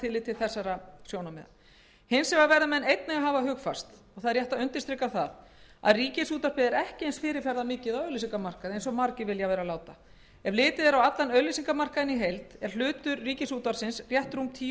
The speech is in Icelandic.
til þessara sjónarmiða hins vegar verða menn einnig að hafa hugfast og það er rétt að undirstrika það að ríkisútvarpið er ekki eins fyrirferðarmikið á auglýsingamarkaði og margir vilja vera láta ef litið er á allan auglýsingamarkaðinn í heild er hlutur þess rétt rúm tíu